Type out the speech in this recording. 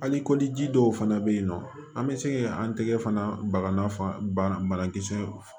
Hali kɔdi dɔw fana be yen nɔ an be se ka an tigɛ fana baga banakisɛ